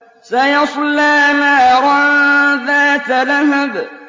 سَيَصْلَىٰ نَارًا ذَاتَ لَهَبٍ